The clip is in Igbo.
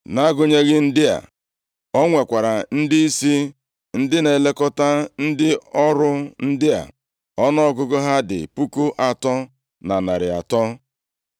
Nʼagụnyeghị ndị a, o nwekwara ndịisi, ndị na-elekọta ndị ọrụ ndị a, ọnụọgụgụ ha dị puku atọ na narị atọ.